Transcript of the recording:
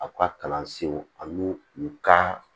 Aw ka kalansow a b'u u kan